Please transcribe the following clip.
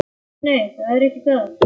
Nei, nei, það er ekki það.